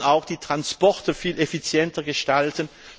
Wir wollen auch die Transporte viel effizienter gestalten.